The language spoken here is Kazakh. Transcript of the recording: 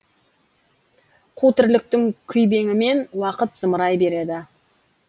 қу тірліктің күйбеңімен уақыт зымырай береді